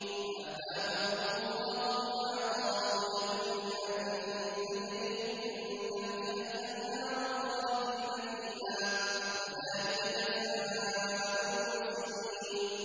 فَأَثَابَهُمُ اللَّهُ بِمَا قَالُوا جَنَّاتٍ تَجْرِي مِن تَحْتِهَا الْأَنْهَارُ خَالِدِينَ فِيهَا ۚ وَذَٰلِكَ جَزَاءُ الْمُحْسِنِينَ